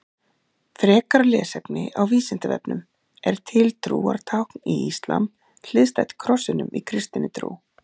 Frekara lesefni á Vísindavefnum Er til trúartákn í íslam hliðstætt krossinum í kristinni trú?